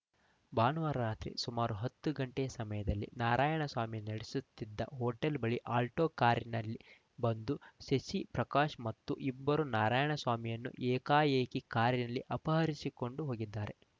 ಭಾನುವಾರ ರಾತ್ರಿ ಸುಮಾರು ಹತ್ತು ಗಂಟೆ ಸಮಯದಲ್ಲಿ ನಾರಾಯಣಸ್ವಾಮಿ ನಡೆಸುತ್ತಿದ್ದ ಹೊಟೇಲ್‌ ಬಳಿ ಅಲ್ಟೋ ಕಾರಿನಲ್ಲಿ ಬಂದು ಶಶಿ ಪ್ರಕಾಶ್‌ ಮತ್ತು ಇಬ್ಬರು ನಾರಾಯಣಸ್ವಾಮಿಯನ್ನು ಏಕಾಏಕಿ ಕಾರಿನಲ್ಲಿ ಅಪಹರಿಸಿಕೊಂಡು ಹೋಗಿದ್ದಾರೆ